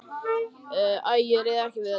Æ, ég réð ekki við þetta.